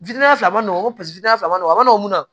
fila man nɔgɔ ko fila man nɔgɔn a ma nɔgɔn mun na